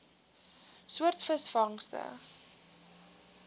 soort visvangste